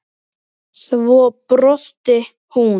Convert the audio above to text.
Svo brosti hún.